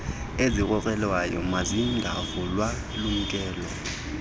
ezikrokrelekayo mazingavulwa lumkela